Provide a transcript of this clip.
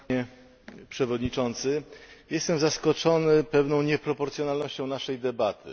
Panie Przewodniczący! Jestem zaskoczony pewną nieproporcjonalnością naszej debaty.